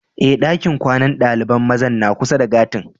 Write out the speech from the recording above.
Eh, dakin kwanan dalibain maza na kusa da gati'n.